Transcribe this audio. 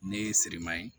Ne ye seriman ye